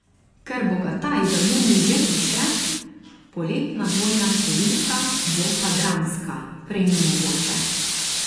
Ker Bogataj za junij že piše, poletna dvojna številka bo pa dramska, prej ni mogoče.